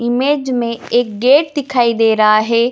Image में एक gate दिखाई दे रहा है।